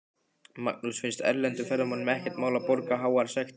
Magnús: Finnst erlendum ferðamönnum ekkert mál að borga háar sektir?